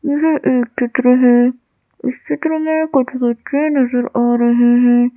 यह एक चित्र है इस चित्र मैं कुछ बच्चे नजर आ रहे हैं।